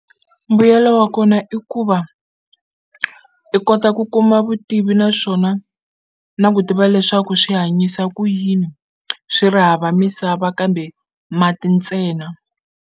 Mbuyelo wa kona i ku va i kota ku kuma vutivi naswona na ku tiva leswaku swi hanyisa ku yini swi ri hava misava kambe mati ntsena.